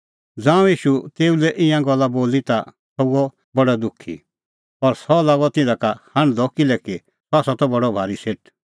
ज़ांऊं ईशू तेऊ लै ईंयां गल्ला बोली ता सह हुअ बडअ दुखीऔर सह लागअ तिधा का हांढदअ किल्हैकि सह त बडअ भारी सेठ